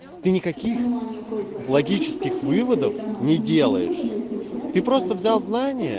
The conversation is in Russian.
ты никаких логических выводов не делаешь ты просто взял знания